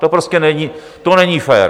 To prostě není, to není fér.